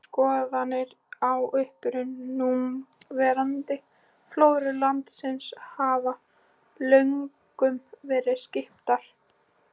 Skoðanir á uppruna núverandi flóru landsins hafa löngum verið skiptar.